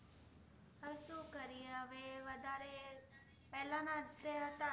પહેલાના જે હતા